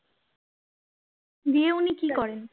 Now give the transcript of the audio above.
দিয়ে উনি কি করেন